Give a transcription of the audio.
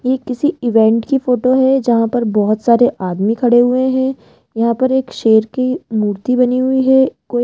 ये किसी इवेंट की फोटो है जहां पर बहोत सारे आदमी खड़े हुए हैं यहां पे एक शेर की मूर्ति बनी हुई है कोई --